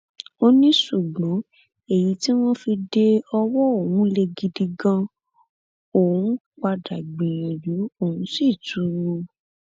ó ní ṣùgbọn èyí tí wọn fi de ọwọ òun lè gidi ganan òun padà gbìyànjú òun sì tù ú